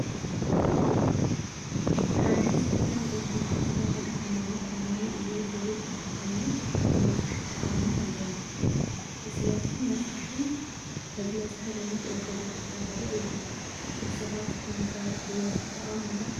ሓደ ሰብ ናይ ኦርቶዶክስ ተዋሀዶ ሃይማኖት ኣማኒ እየ ዝብል እንተኾይኑ ብመስቀል ክኣምን አለዎ። ስለዚ መስቀል መግለፂ ሃይማኖት ኦርቶዶክስ ተዋህዶ እዩ። ንስኻትኩም ኮ ብመስቀል ትኣምኑ ዶ?